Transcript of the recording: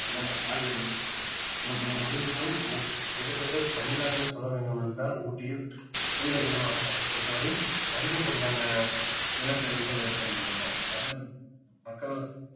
அந்த ஆகியவை மு~முழுதிலும் கிட்டதட்ட தமிழ்நாடில் சொல்ல வேண்டும் என்றால் ஊட்டியில் நீலகிரி மாவட்டம் பொறுத்த வரை அதிகப்படியான நிலச்சரிவுகள் ஏற்படுகின்றன அதிலும் மக்கள்